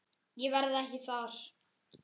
Ég verð ekki þar.